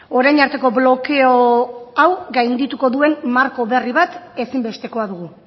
orain arteko blokeo hau gaindituko duen marko berri bat ezinbestekoa dugu